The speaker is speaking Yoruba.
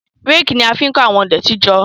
Réèkì ni a fi ń kó àwọn ìdọ̀tí jọ.